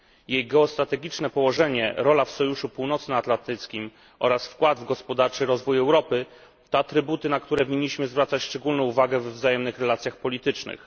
Jej geostrategiczne położenie, rola w Sojuszu Północnoatlantyckim oraz wkład w gospodarczy rozwój Europy, to atrybuty, na które winniśmy zwracać szczególną uwagę we wzajemnych relacjach politycznych.